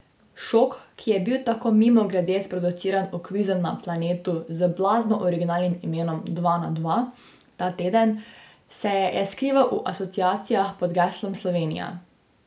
Šok, ki je bil tako mimogrede sproduciran v kvizu na Planetu z blazno originalnim imenom Dva na Dva ta teden, se je skrival v asociacijah pod geslom Slovenija.